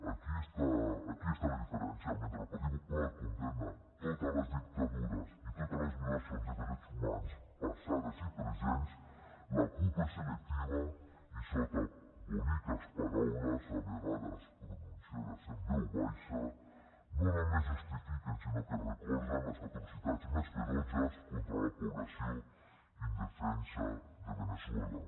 aquí està aquí està la diferència mentre el partit popular condemna totes les dictadures i totes les violacions de drets humans passades i presents la cup és selectiva i sota boniques paraules a vegades pronunciades en veu baixa no només justifiquen sinó que recolzen les atrocitats més ferotges contra la població indefensa de veneçuela